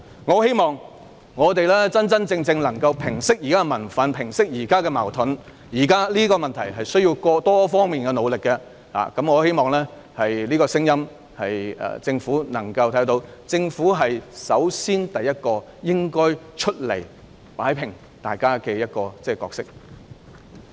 我希望現時的民憤和矛盾可以得到真正平息，現時的問題需要多方努力，我希望政府會聽到這個聲音，而政府應該擔當首先走出來擺平問題的角色。